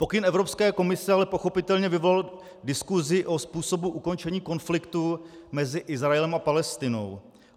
Pokyn Evropské komise ale pochopitelně vyvolal diskusi o způsobu ukončení konfliktu mezi Izraelem a Palestinou.